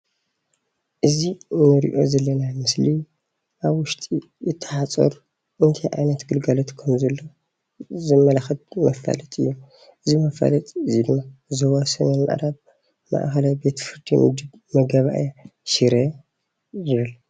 እዚ እንሪኦ ዘለና ምስሊ ኣብ ውሽጢ እቲ ሓፁር እንታይ ዓይነት ግልጋሎት ከም ዘለዎ ዘመላክት መፋለጢ ዞባ ሰሜን ምዕራብ ማእከላይ ቤት ፍርዲ መጋባእያ ሽረ ዝብል ንርኢ፡፡